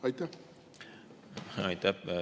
Aitäh!